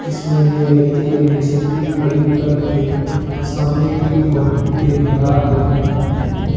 जिसमें ये व्यक्ति अपनी स्कूटी खड़ी करके सामने की ओर देख रहा है।